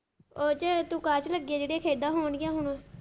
ਓਹਦੇ ਚ ਤੂੰ ਕਾਹਦੇ ਚ ਲੱਗੀ ਆ ਜੇਹੜੀਂਆ ਖੇਡਾਂ ਹੋਣਗੀਆਂ ਹੁਣ।